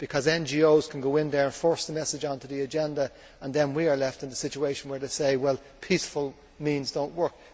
NGOs can go in, force their message onto the agenda, and then we are left in the situation where they are saying that peaceful means do not work.